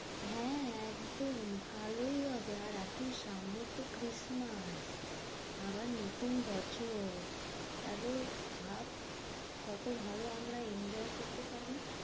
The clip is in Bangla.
হ্যাঁ একদম ভালোই হবে। আর এখন সামনে তো christmas আবার নতুন বছর। তাহলে ভাব কত ভালো আমরা enjoy করতে পারি।